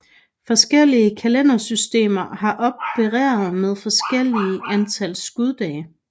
Forskellige kalendersystemer har opereret med forskellige antal skuddage